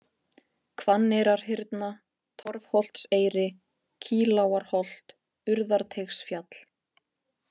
Hvanneyrarhyrna, Torfholtseyri, Kýlágarholt, Urðarteigsfjall